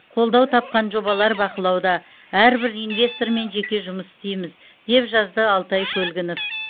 қолдау тапқан жобалар бақылауда әрбір инвестормен жеке жұмыс істейміз деп жазды алтай көлгінов